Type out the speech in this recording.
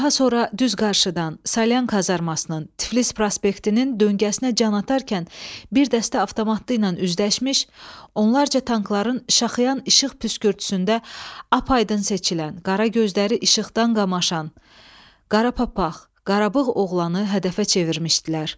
Daha sonra düz qarşıdan, Salyan kazarmasının, Tiflis prospektinin döngəsinə can atarkən bir dəstə avtomatlıyla üzləşmiş, onlarca tankların şaxıyan işıq püskürtüsündə apaydın seçilən, qara gözləri işıqdan qamaşan, qara papaqlı, qarabığ oğlanı hədəfə çevirmişdilər.